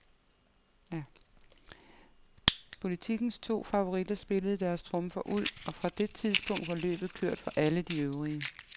Politikens to favoritter spillede deres trumfer ud, og fra det tidspunkt var løbet kørt for alle de øvrige.